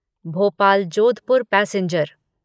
Bhopal Jodhpur passenger